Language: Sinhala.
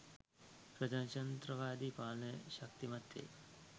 ප්‍රජාතන්ත්‍රවාදි පාලනය ශක්තිමත් වේ.